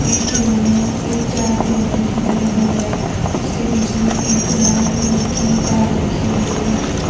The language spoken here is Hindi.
एक खिलौना एक चार दिवारी की तरह बंद है उसके बीच में एक लाल कलर की कार रखी हुई है।